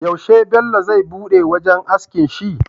Yaushe Bello zai buɗe wajan askin shi?